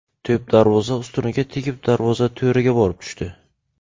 To‘p darvoza ustuniga tegib, darvoza to‘riga borib tushdi.